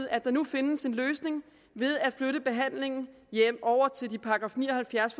at der nu findes en løsning ved at flytte behandlingen over til de § ni og halvfjerds